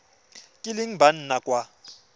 kileng ba nna kwa go